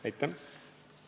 Aitäh!